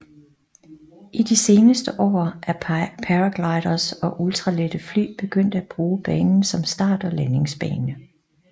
I de seneste år er paragliders og ultralette fly begyndt at bruge banen som start og landingsbane